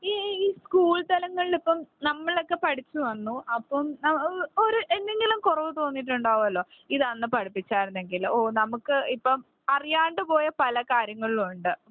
ഈ സ്കൂൾ തലങ്ങളിൽ ഇപ്പോൾ നമ്മളൊക്കെ പഠിച്ചു വന്നു അപ്പോൾ ഒരു എന്തെങ്കിലും കുറവ് തോന്നിയിട്ട് ഉണ്ടാകുമല്ലോ ഇത് അന്ന് പഠിപ്പിച്ച ആയിരുന്നെങ്കിലോ? ഓ നമുക്ക്ഇപ്പം അറിയാണ്ട് പോയ പല കാര്യങ്ങളും ഉണ്ട്.